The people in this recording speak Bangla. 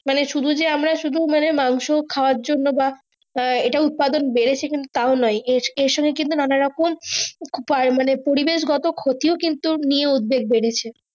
মানে সুদু যে আমরা শুদু মানে মাংস খাওয়া জন্ন্য বা ইটা উৎপাদন বেড়েছে কিন্তু তাও নয় এর সময় নানা রকম মানে পড়ি বেশ গত ক্ষতি কিন্তু নিয়ে উৎবেগ বেড়েছে।